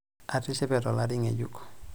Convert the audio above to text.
Atishipe tolari ngejuk.